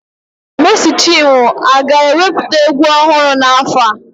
Mèési chinwo aga-ewepụta egwu ọhụrụ n'afọ a?